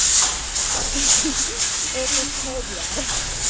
એ તો છે જ યાર